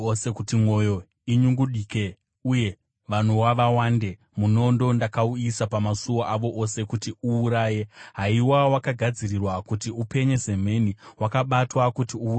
Kuti mwoyo inyungudike uye vanowa vawande, munondo ndakauyisa pamasuo avo ose kuti uuraye. Haiwa, wakagadzirirwa kuti upenye semheni, wakabatwa kuti uuraye.